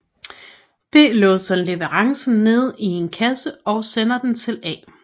B låser leverancen nede i en kasse og sender den til A